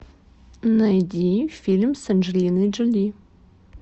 найди фильм с анджелиной джоли